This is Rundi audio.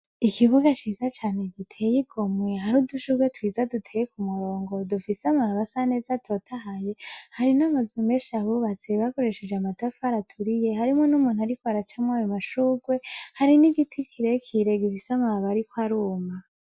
Ikibuga ciza cane giteye igomwe, hari udushurwe twiza duteye k'umurongo, dufise amababi asa neza atotahaye, hari n'amazu menshi ahubatse bakoresheje amatafari aturiye, harimwo n'umuntu ariko araca mw'ayo mashurwe, hari n'igiti kirekire gifise amababi ariko aruma.